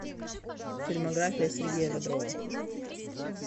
фильмография сергея бодрова